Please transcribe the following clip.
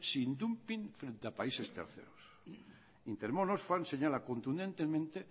sin dumping frente a países terceros intermon oxfam señala contundentemente